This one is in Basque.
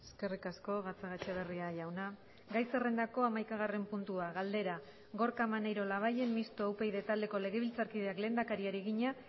eskerrik asko gatzagaetxebarria jauna gai zerrendako hamaikagarren puntua galdera gorka maneiro labayen mistoa upyd taldeko legebiltzarkideak lehendakariari egina